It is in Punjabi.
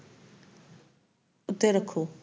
ਉੱਤੇ ਰੱਖੋ